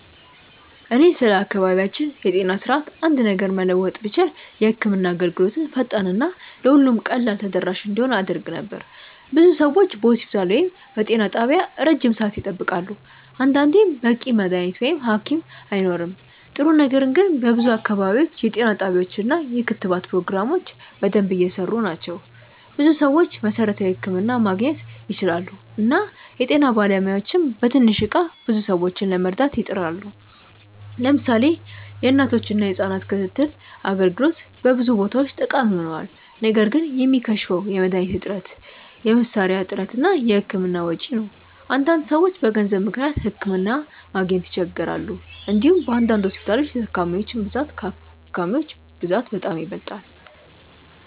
እኔ ስለ አካባቢያችን የጤና ስርዓት አንድ ነገር መለወጥ ብችል የህክምና አገልግሎትን ፈጣን እና ለሁሉም ቀላል ተደራሽ እንዲሆን አደርግ ነበር። ብዙ ሰዎች በሆስፒታል ወይም በጤና ጣቢያ ረጅም ሰዓት ይጠብቃሉ፣ አንዳንዴም በቂ መድሀኒት ወይም ሀኪም አይኖርም። ጥሩ ነገር ግን በብዙ አካባቢዎች የጤና ጣቢያዎች እና የክትባት ፕሮግራሞች በደንብ እየሰሩ ናቸው። ብዙ ሰዎች መሠረታዊ ሕክምና ማግኘት ይችላሉ እና የጤና ባለሙያዎችም በትንሽ እቃ ብዙ ሰዎችን ለመርዳት ይጥራሉ። ለምሳሌ የእናቶችና የህጻናት ክትትል አገልግሎት በብዙ ቦታዎች ጠቃሚ ሆኗል። ነገር ግን የሚከሽፈው የመድሀኒት እጥረት፣ የመሳሪያ እጥረት እና የህክምና ወጪ ነው። አንዳንድ ሰዎች በገንዘብ ምክንያት ሕክምና ማግኘት ይቸገራሉ። እንዲሁም በአንዳንድ ሆስፒታሎች የታካሚዎች ብዛት ከሀኪሞች ብዛት በጣም ይበልጣል።